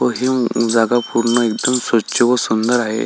व हि जागा पूर्ण इथून स्वच्छ व सुंदर आहे.